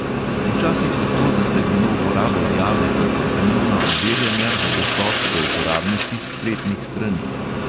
Včasih lahko zasledimo uporabo jave kot mehanizma overjanja za dostop do uporabniških spletnih strani.